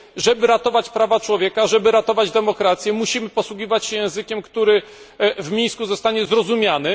Żeby ratować prawa człowieka, żeby ratować demokrację musimy posługiwać się językiem, który w Mińsku zostanie zrozumiany.